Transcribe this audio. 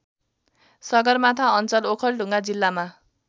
सगरमाथा अञ्चल ओखलढुङ्गा जिल्लामा